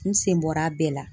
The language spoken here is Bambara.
N sen bɔr'a a bɛɛ la